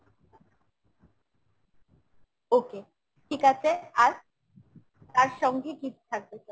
okay ঠিক আছে আর ? তার সঙ্গে কি কি থাকবে sir ?